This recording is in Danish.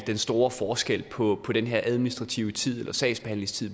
den store forskel på den her administrative sagsbehandlingstid